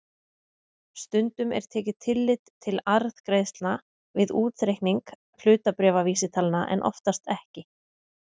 Stundum er tekið tillit til arðgreiðslna við útreikning hlutabréfavísitalna en oftast ekki.